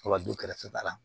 Wa du kɛrɛfɛ da la